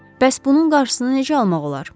Bəs bunun qarşısını necə almaq olar?